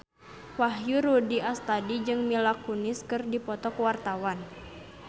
Wahyu Rudi Astadi jeung Mila Kunis keur dipoto ku wartawan